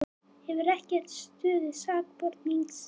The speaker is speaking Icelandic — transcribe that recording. Hefur ekki stöðu sakbornings